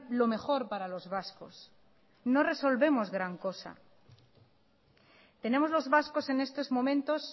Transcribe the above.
lo mejor para los vascos no resolvemos gran cosa tenemos los vascos en estos momentos